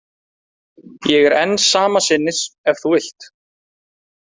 Ég er enn sama sinnis ef þú vilt.